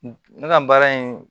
Ne ka baara in